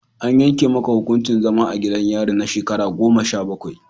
An yanke maka hukuncin zaman gidan yari na shekaru goma sha bakwai.